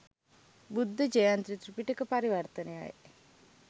බුද්ධ ජයන්ති ත්‍රිපිටක පරිවර්තනයයි